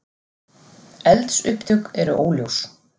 Eldsupptök eru óljós